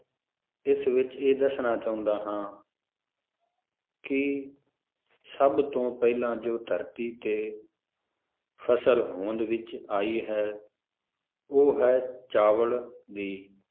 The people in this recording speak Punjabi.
ਇਸ ਵਿਚ ਇਹ ਦਸਣਾ ਚਾਹੁੰਦਾ ਹਾਂ ਕਿ ਸਭ ਤੋਂ ਪਹਿਲਾ ਜੋ ਧਰਤੀ ਤੇ ਫਸਲ ਹੋਂਦ ਵਿਚ ਆਈ ਹੈ ਉਹ ਹੈ ਚਾਵਲ ਦੀ